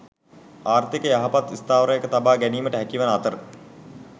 ආර්ථිකය යහපත් ස්ථාවරයක තබා ගැනීමට හැකිවන අතර